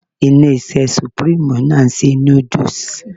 Ilé-iṣẹ́ supreme náà ń ṣe noodles